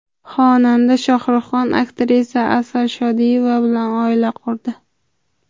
Xonanda Shohruxxon aktrisa Asal Shodiyeva bilan oila qurdi.